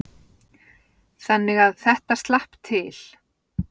Þannig að þetta slapp til.